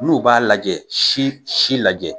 N'u b'a lajɛ si si lajɛ.